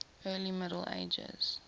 early middle ages